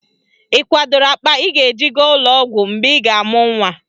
Ị kwadoro akpa ị ga-eji gaa ụlọọgwọ mgbe ị ga-amụ nnwa